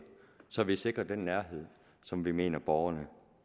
så vi sikrer den nærhed som vi mener borgerne